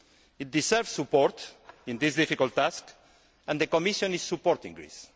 economy. It deserves support in this difficult task, and the Commission supports